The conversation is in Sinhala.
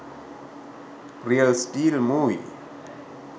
real steel movie